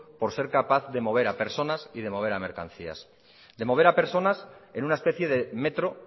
por ser capaz de mover a personas y de mover a mercancías de mover a personas en una especie de metro